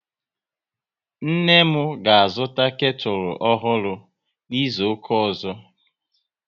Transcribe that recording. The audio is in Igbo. Nne m ga azụta ketu ọhụrụ n'izuka ọzọ